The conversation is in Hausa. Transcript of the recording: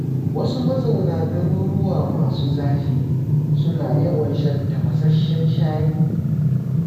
Wasu mazauna garuruwa masu zafi, suna yawan shan tafashasshen shayi.